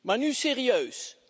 Maar nu serieus.